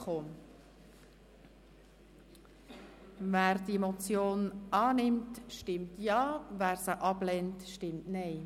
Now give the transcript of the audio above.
Wer diese Motion annimmt, stimmt Ja, wer diese ablehnt, stimmt Nein.